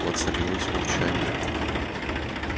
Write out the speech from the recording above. воцарилось молчание